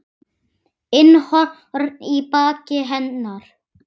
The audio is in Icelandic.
inn horn í baki hennar.